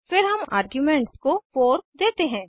फिर हम आर्गुमेंट को 4 देते हैं